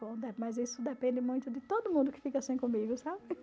mas isso depende muito de todo mundo que fica assim comigo, sabe?